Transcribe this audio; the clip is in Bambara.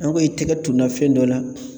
An ko i tɛgɛ tunna fɛn dɔ la